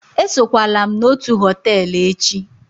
esokwala m na otu họtel echi!